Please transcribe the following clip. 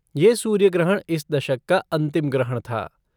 यह सूर्य ग्रहण इस दशक का अंतिम ग्रहण था।